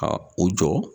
Ka u jɔ